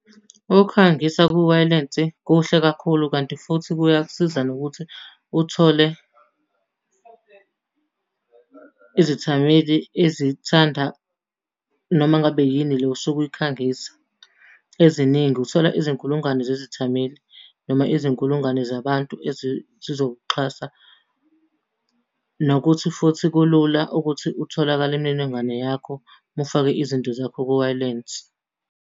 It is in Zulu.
Ukukhangisa kuwayilesi kuhle kakhulu kanti futhi kuyakusiza nokuthi uthole izethameli ezithanda noma ngabe yini le osuke uyikhangisa, eziningi, uthola izinkulungwane zezithameli noma izinkulungwane zabantu zizokuxhasa. Nokuthi futhi kulula ukuthi utholakale imininingwane yakho uma ufake izinto zakho kuwayilense.